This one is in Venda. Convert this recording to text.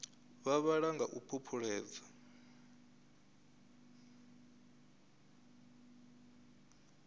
vha vhala nga u phuphuledza